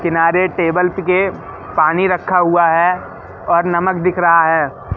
किनारे टेबल्स के पानी रखा हुआ है और नमक दिख रहा है।